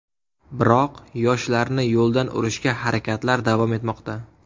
Biroq yoshlarni yo‘ldan urishga harakatlar davom etmoqda.